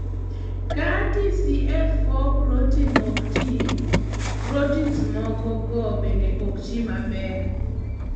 ka TCF4 protein okti, proteins mokogo bende oktii maber